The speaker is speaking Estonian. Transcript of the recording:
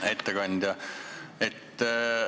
Hea ettekandja!